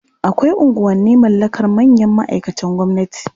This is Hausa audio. Akwai unguwanni mallakar manyan ma'aikatan gwamnati.